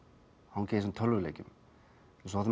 hanga í þessum tölvuleikjum